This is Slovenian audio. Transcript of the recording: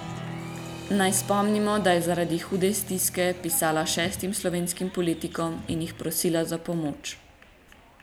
Naj spomnimo, da je zaradi hude stiske pisala šestim slovenskim politikom in jih prosila za pomoč.